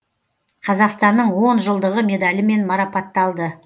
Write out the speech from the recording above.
қазақстанның он жылдығы медалімен мараппаталды